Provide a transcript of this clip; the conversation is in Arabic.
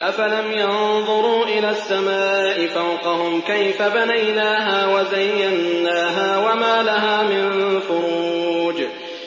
أَفَلَمْ يَنظُرُوا إِلَى السَّمَاءِ فَوْقَهُمْ كَيْفَ بَنَيْنَاهَا وَزَيَّنَّاهَا وَمَا لَهَا مِن فُرُوجٍ